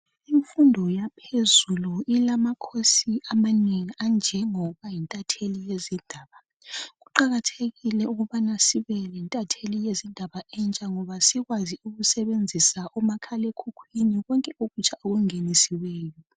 imfundo yaphezulu ilama course amanengi anjengokuba yintatheli yezindaba kuqakathekile ukuba sibe lentatheli yezindaba entsha ngoba sikwazi ukusebenzisa umakhala ekhukwini konke okutsha okungenisiweyo